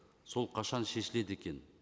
сол қашан шешіледі екен